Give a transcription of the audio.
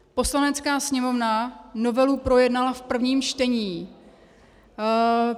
Poslanecká sněmovna novelu projednala v prvním čtení.